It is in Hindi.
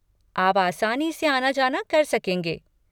आप आसानी से आना जाना कर सकेंगे।